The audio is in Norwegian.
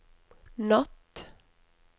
natt